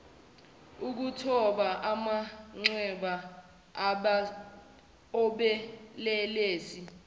ukuthoba amanxeba obelelesi